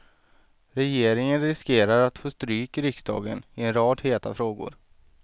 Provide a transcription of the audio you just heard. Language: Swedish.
Regeringen riskerar att få stryk i riksdagen i en rad heta frågor.